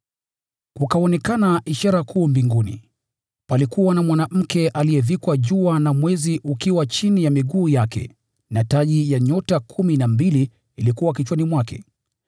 Kukaonekana ishara kuu mbinguni: Palikuwa na mwanamke aliyevikwa jua, na mwezi ukiwa chini ya miguu yake, na taji ya nyota kumi na mbili ilikuwa kichwani mwake.